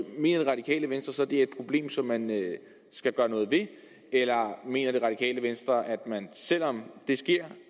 mener det radikale venstre så det er et problem som man skal gøre noget ved eller mener det radikale venstre at man selv om det sker